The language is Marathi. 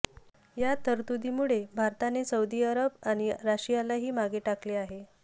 या तरतुदीमुळे भारताने सौदी अरब आणि रशियालाही मागे टाकले आहे